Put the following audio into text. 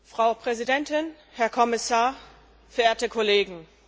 Frau Präsidentin, Herr Kommissar, verehrte Kollegen!